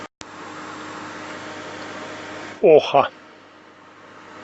оха